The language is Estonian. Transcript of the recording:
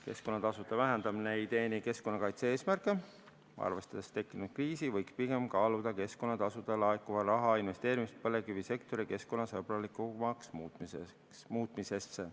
Keskkonnatasude vähendamine ei teeni keskkonnakaitse eesmärke, arvestades tekkinud kriisi võiks pigem kaaluda keskkonnatasudest laekuva raha investeerimist põlevkivisektori keskkonnasõbralikumaks muutmisesse.